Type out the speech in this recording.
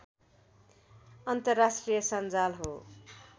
अन्तर्राष्ट्रिय संजाल हो